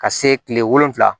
Ka se kile wolonwula ma